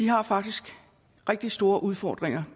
har faktisk rigtig store udfordringer